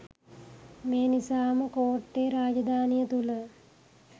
මේ නිසාම කෝට්ටේ රාජධානිය තුළ